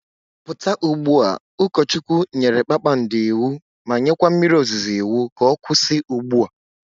puta ugbua! Ukochwukwu nyere Kpakpando iwu na nyekwe mmiri ozuzuo iwu ka okwusi ugbua